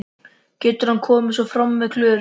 Getur hann komið svona fram við Klöru?